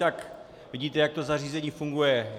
Tak vidíte, jak to zařízení funguje.